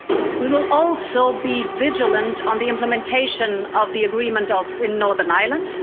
We will also be vigilant on the implementation of the agreement in Northern Ireland.